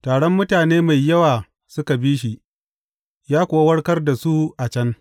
Taron mutane mai yawa suka bi shi, ya kuwa warkar da su a can.